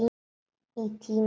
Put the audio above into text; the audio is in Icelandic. Í tíma.